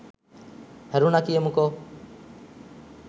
හැරුන කියමුකෝ